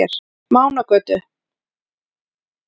Mánagötu